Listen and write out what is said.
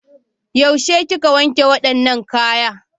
Yaushe kika wanke wadannan kaya?